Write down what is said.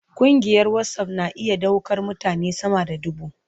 Kungiyar WhatsApp na iya daukar mutane sama da dubu.